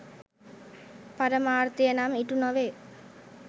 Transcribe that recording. පරමාර්ථය නම් ඉටු නොවේ.